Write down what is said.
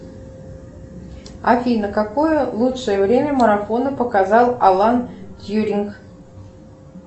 афина какое лучшее время марафона показал алан тьюринг